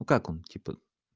как он типа